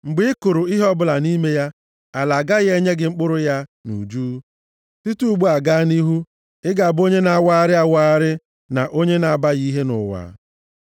Mgbe ị kụrụ ihe ọbụla nʼime ya, ala agaghị enye gị mkpụrụ ya nʼuju. Site ugbu a gaa nʼihu, ị ga-abụ onye na-awagharị awagharị na onye na-abaghị nʼihe nʼụwa.”